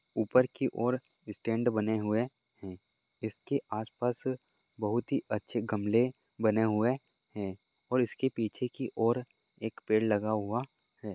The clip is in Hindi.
ऊपर के और स्टैन्ड बने हुए हैं इसके आसपास बहुत ही अच्छे गमले बने हुए हैं और इसके पीछे की ओर एक पेड़ लगा हुआ है।